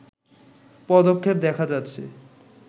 পদক্ষেপ দেখা যাচ্ছে